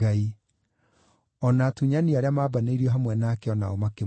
O na atunyani arĩa maambanĩirio hamwe nake o nao makĩmũruma.